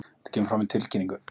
Þetta kemur fram í tilkynningu